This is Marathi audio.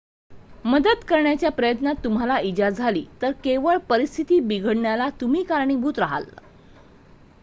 मदत करण्याच्या प्रयत्नात तुम्हाला इजा झाली तर केवळ परिस्थिती बिघडण्याला तुम्ही कारणीभूत राहाल